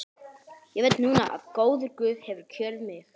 Ég veit núna að góður guð hefur kjörið mig.